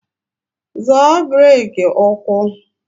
Zọọ breki ụkwụ!